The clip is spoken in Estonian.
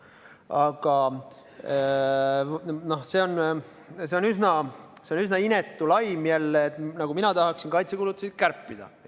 Aga see on taas üsna inetu laim, nagu mina tahaksin kaitsekulutusi kärpida.